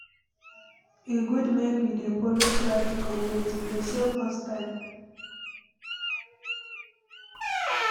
E good make we dey follow traffic updates, e go save us time.